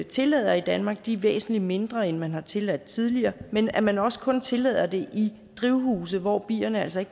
tillader i danmark er væsentlig mindre end man har tilladt tidligere men at man også kun tillader det i drivhuse hvor bierne altså